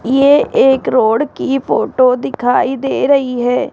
ये एक रोड की फोटो दिखाई दे रही है।